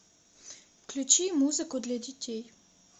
включи музыку для детей